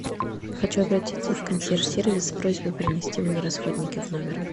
хочу обратиться в консьерж сервис с просьбой принести мне расходники в номер